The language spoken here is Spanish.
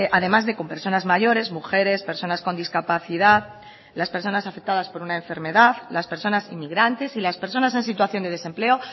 además de con personas mayores mujeres personas con discapacidad las personas afectadas por una enfermedad las personas inmigrantes y las personas en situación de desempleo